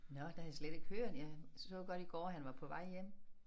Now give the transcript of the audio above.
Nåh det havde jeg slet ikke hørt jeg så godt i går at han var på vej hjem